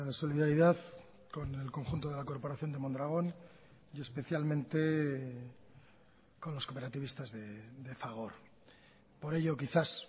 solidaridad con el conjunto de la corporación de mondragón y especialmente con los cooperativistas de fagor por ello quizás